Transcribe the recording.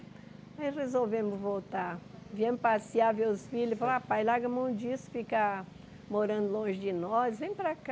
Aí resolvemos voltar, viemos passear, ver os filhos falaram, ah pai larga mão disso, fica morando longe de nós, vem para cá.